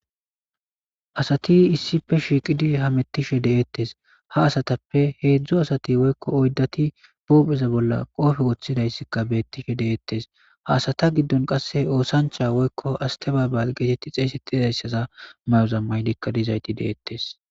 asati issife shiiqidi hamettishe de7ettes ha asatappe heedzdzo asati woykko oyddati poopheza bolla qoofe woththidayssikka beettishe de7ettes ha asata giddon qasse oosancha woykko astabaabal geetetti xeeyse tizayssaza mayoza maylikka dizayti deettes